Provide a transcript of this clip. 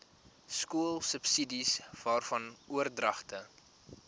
skoolsubsidies waarvan oordragte